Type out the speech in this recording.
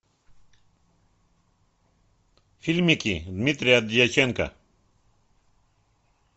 фильмики дмитрия дьяченко